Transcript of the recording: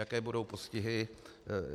Jaké budou postihy?